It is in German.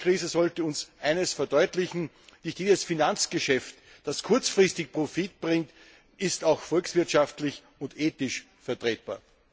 Die Eurokrise sollte uns eines verdeutlichen Nicht jedes Finanzgeschäft, das kurzfristig Profit bringt, ist auch volkswirtschaftlich und ethisch vertretbar.